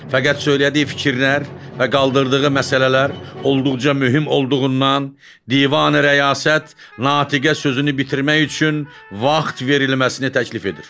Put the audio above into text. Fəqət söylədiyi fikirlər və qaldırdığı məsələlər olduqca mühüm olduğundan Divani Rəyasət Natiqə sözünü bitirmək üçün vaxt verilməsini təklif edir.